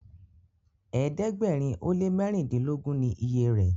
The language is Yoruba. ẹ̀ẹ́dẹ̀gbẹ̀rin o lẹ mẹrindilogun ni ìyè rẹ.